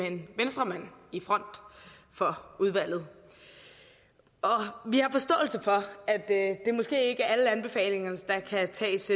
en venstremand i front for udvalget vi har forståelse for at det måske ikke er alle anbefalinger der kan tages